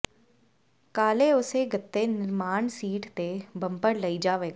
ਕਾਲੇ ਉਸੇ ਗੱਤੇ ਨਿਰਮਾਣ ਸੀਟ ਅਤੇ ਬੰਪਰ ਲਈ ਜਾਵੇਗਾ